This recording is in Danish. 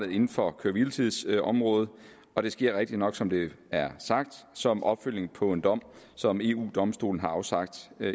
inden for køre hvile tids området og det sker rigtigt nok som det er sagt som opfølgning på en dom som eu domstolen har afsagt